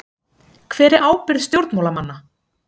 Hver er ábyrgð stjórnmálamanna?